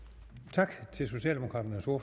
tak